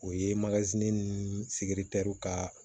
O ye ni ka